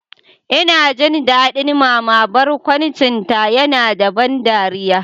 Ina son jin daɗin Mama, barkwancinta yana da ban dariya.